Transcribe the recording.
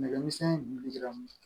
Nɛgɛ misɛn in dun dilan